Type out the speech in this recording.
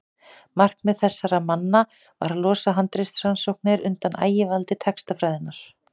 markmið þessara manna var að losa handritarannsóknir undan ægivaldi textafræðinnar